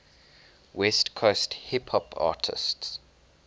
west coast hip hop artists